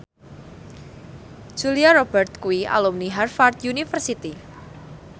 Julia Robert kuwi alumni Harvard university